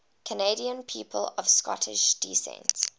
canadian people of scottish descent